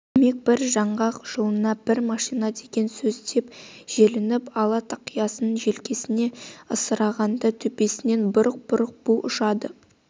демек бір жаңғақ жылына бір машина деген сөз деп желпініп ала тақиясын желкесіне ысырғанда төбесінен бұрқ-бұрқ бу ұшады